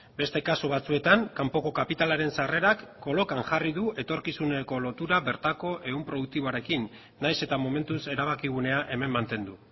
beste kasu batzuetan kanpoko kapitalaren sarrerak kolokan jarri du etorkizun ekolotura bertako ehun produktiboarekin nahiz eta momentuz erabakigunea hemen mantendu